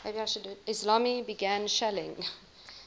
islami began shelling